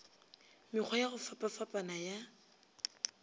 mekgwa ya go fapafapana ya